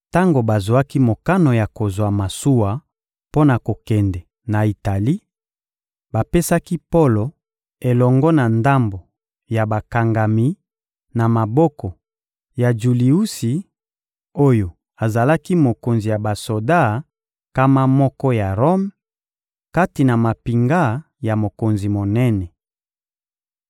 Tango bazwaki mokano ya kozwa masuwa mpo na kokende na Itali, bapesaki Polo elongo na ndambo ya bakangami na maboko ya Juliusi oyo azalaki mokonzi ya basoda nkama moko ya Rome, kati na mampinga ya mokonzi monene.